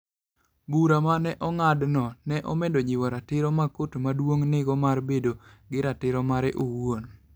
Bura ma ne ong'adno, ne omedo jiwo ratiro ma Kot Maduong' nigo mar bedo gi ratiro mare owuon.